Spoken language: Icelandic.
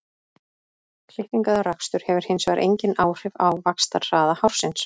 Klipping eða rakstur hefur hins vegar engin áhrif á vaxtarhraða hársins.